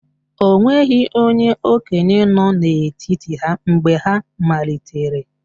O nweghị onye okenye nọ n'etiti ha mgbe ha malitere